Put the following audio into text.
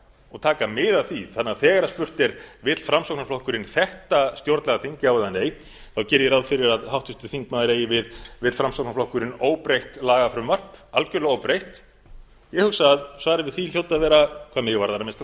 og taka mið af því þannig að þegar spurt er vill framsóknarflokkurinn þetta stjórnlagaþing já eða nei geri ég ráð fyrir að háttvirtur þingmaður eigi við vill framsóknarflokkurinn óbreytt lagafrumvarp algjörlega óbreytt ég hugsa að svarið við því hljóti að vera hvað mig varðar að minnsta